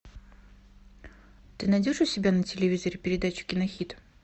ты найдешь у себя на телевизоре передачу кинохит